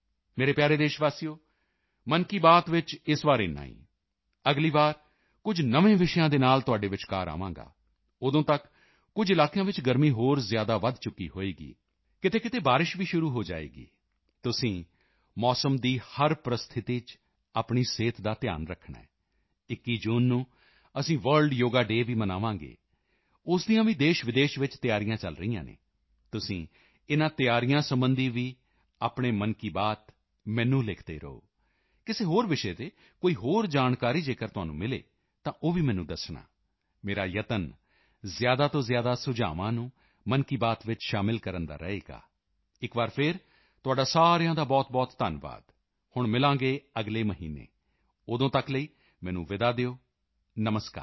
ਮੇਰੇ ਪਿਆਰੇ ਦੇਸ਼ਵਾਸੀਓ ਮਨ ਕੀ ਬਾਤ ਵਿੱਚ ਇਸ ਵਾਰ ਏਨਾ ਹੀ ਅਗਲੀ ਵਾਰੀ ਕੁਝ ਨਵੇਂ ਵਿਸ਼ਿਆਂ ਦੇ ਨਾਲ ਤੁਹਾਡੇ ਵਿਚਕਾਰ ਆਵਾਂਗਾ ਉਦੋਂ ਤੱਕ ਕੁਝ ਇਲਾਕਿਆਂ ਵਿੱਚ ਗਰਮੀ ਹੋਰ ਜ਼ਿਆਦਾ ਵਧ ਚੁੱਕੀ ਹੋਵੇਗੀ ਕਿਤੇਕਿਤੇ ਬਾਰਿਸ਼ ਵੀ ਸ਼ੁਰੂ ਹੋ ਜਾਵੇਗੀ ਤੁਸੀਂ ਮੌਸਮ ਦੀ ਹਰ ਪਰਿਸਥਿਤੀ ਚ ਆਪਣੀ ਸਿਹਤ ਦਾ ਧਿਆਨ ਰੱਖਣਾ ਹੈ 21 ਜੂਨ ਨੂੰ ਅਸੀਂ ਵਰਲਡ ਯੋਗਾ ਡੇ ਵੀ ਮਨਾਵਾਂਗੇ ਉਸ ਦੀਆਂ ਵੀ ਦੇਸ਼ਵਿਦੇਸ਼ ਵਿੱਚ ਤਿਆਰੀਆਂ ਚਲ ਰਹੀਆਂ ਹਨ ਤੁਸੀਂ ਇਨ੍ਹਾਂ ਤਿਆਰੀਆਂ ਸਬੰਧੀ ਵੀ ਆਪਣੇ ਮਨ ਕੀ ਬਾਤ ਮੈਨੂੰ ਲਿਖਦੇ ਰਹੋ ਕਿਸੇ ਹੋਰ ਵਿਸ਼ੇ ਤੇ ਕੋਈ ਹੋਰ ਜਾਣਕਾਰੀ ਜੇਕਰ ਤੁਹਾਨੂੰ ਮਿਲੇ ਤਾਂ ਉਹ ਵੀ ਮੈਨੂੰ ਦੱਸਣਾ ਮੇਰਾ ਯਤਨ ਜ਼ਿਆਦਾ ਤੋਂ ਜ਼ਿਆਦਾ ਸੁਝਾਵਾਂ ਨੂੰ ਮਨ ਕੀ ਬਾਤ ਵਿੱਚ ਸ਼ਾਮਲ ਕਰਨ ਦਾ ਰਹੇਗਾ ਇੱਕ ਵਾਰ ਫਿਰ ਤੁਹਾਡਾ ਸਾਰਿਆਂ ਦਾ ਬਹੁਤਬਹੁਤ ਧੰਨਵਾਦ ਹੁਣ ਮਿਲਾਂਗੇ ਅਗਲੇ ਮਹੀਨੇ ਉਦੋਂ ਤੱਕ ਲਈ ਮੈਨੂੰ ਵਿਦਾ ਦਿਓ ਨਮਸਕਾਰ